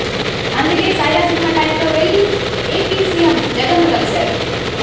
అందుకే సైరా సినిమా టైమ్లో వెళ్లి ఏపీ సీఎం జగన్ను కలిశారు